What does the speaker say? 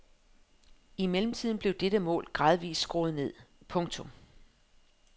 I mellemtiden blev dette mål gradvist skruet ned. punktum